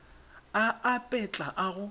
a ape tla a go